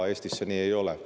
Eestis see nii ei ole.